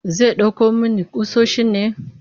Zai ɗauko muku ƙusoshin ne?